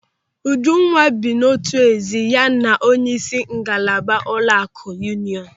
Ujunwa bi n'otu ezi ya na onyeisi ngalaba ụlọaku Yuuniọnụ.